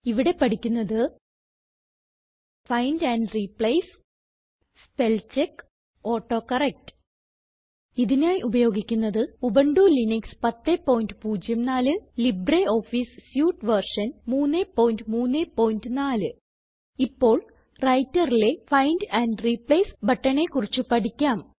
ഇവിടെ പഠിക്കുന്നത് find and replace spellcheck autocorrect ഇതിനായി ഉപയോഗിക്കുന്നത് Ubuntu Linux 1004 LibreOffice suite version 334 ഇപ്പോൾ Writerലെ ഫൈൻഡ് ആൻഡ് റിപ്ലേസ് ബട്ടണെ കുറിച്ച് പഠിക്കാം